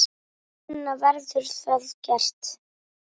Sunna: Verður það gert?